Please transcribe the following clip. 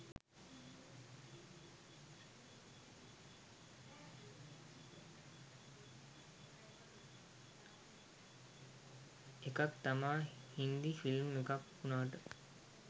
එකක් තමා හින්දි ෆිල්ම් එකක් උනාට